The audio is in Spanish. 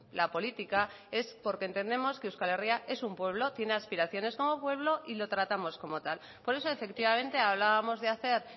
la política es porque entendemos que euskal herria es un pueblo tiene aspiraciones como pueblo y lo tratamos como tal por eso efectivamente hablábamos de hacer